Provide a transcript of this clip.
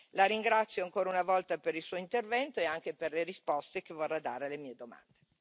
La ringrazio, ancora una volta, per il suo intervento e anche per le risposte che vorrà dare alle mie domande.